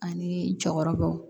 Ani jɔyɔrɔbaw